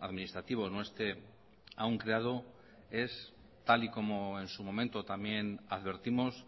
administrativo no esté aún creado es tal y como en su momento también advertimos